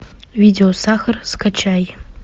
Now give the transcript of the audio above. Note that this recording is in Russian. видео сахар скачай